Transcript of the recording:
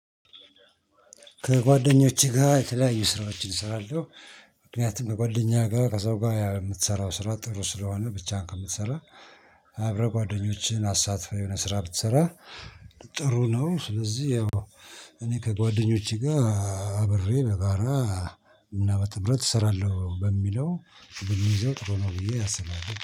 ከጓደኞቼ ጋር የተለያዩ ስራዎችን እሰራለሁ። ምክንያቱም ከጓደኛ ጋር ከሰው ጋር የምትሰራው ስራ ጥሩ ስለሆነ ብቻህን ከምትሰራ። አብረህ ጓደኞችህን አሳትፈህ የሆነ ስራ ብትሰራ ጥሩ ነው። ስለዚህ ያው እኔ ከጓደኞቼ ጋር አብሬ በጋራ እና በጥምረት እሰራለሁ በሚለው ብንይዘው ጥሩ ነው ብዬ አስባለሁ